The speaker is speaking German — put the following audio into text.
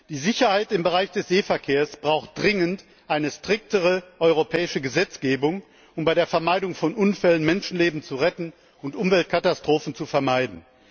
Die Sicherheit im Bereich des Seeverkehrs braucht dringend eine strengere europäische Gesetzgebung, um durch die Vermeidung von Unfällen Menschenleben zu retten und Umweltkatastrophen zu vermeiden.